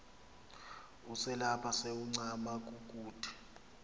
uselapha sewuncama kukude